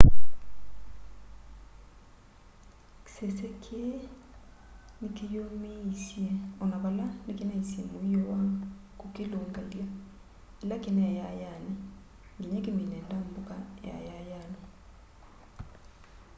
kisese kii nikiyumiisye ona vala nikinaisye muio wa kukilungalya ila kinai yayayani nginya kimine ndambuka yayayani